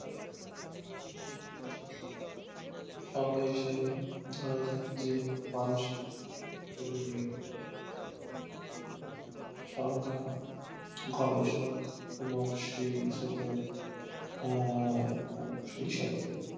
সঙ্গা হিসাবে ধরা যাই যে মানসিক সঙ্গা গবেষক এবং সেই শতক আর সাি সাথে